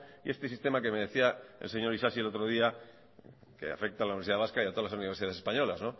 y este sistema que me decía el señor isasi el otro día que afecta a la universidad vasca y a todas las universidades españolas